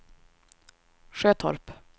Sjötorp